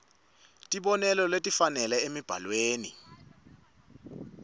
tibonelo letifanele emibhalweni